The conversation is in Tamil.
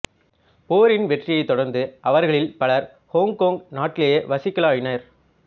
போரின் வெற்றியைத் தொடர்ந்து அவர்களில் பலர் ஹொங்கொங் நாட்டிலேயே வசிக்கலாயினர்